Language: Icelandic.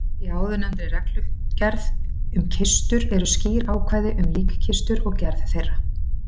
Í áðurnefndri reglugerð um kistur eru skýr ákvæði um líkkistur og gerð þeirra.